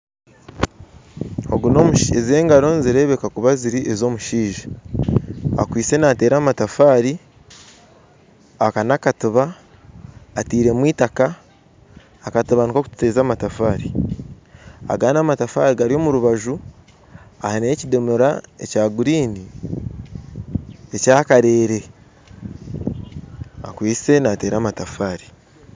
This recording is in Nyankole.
Ogu na omushaija engaro nizirebeka kuba ziri za omushaija akwitse nateera amatafaare aka nakatuba atairemu itaka akatuba nakokuteza amatafaare agandi amatafaare gari omu rubaju hariho ekidomora ekya green ekyakarere akwitse nateera amatafaare